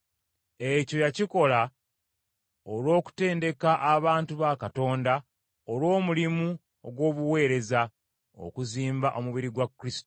Ekyo yakikola olw’okutendeka abantu ba Katonda olw’omulimu ogw’obuweereza, okuzimba omubiri gwa Kristo.